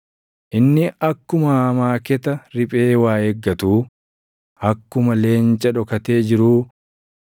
Inni akkuma amaaketa riphee waa eeggatuu, akkuma leenca dhokatee jiruu